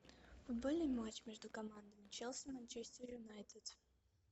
футбольный матч между командами челси манчестер юнайтед